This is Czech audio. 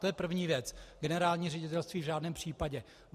To je první věc - generální ředitelství v žádném případě.